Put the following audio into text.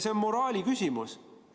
See on moraali küsimus.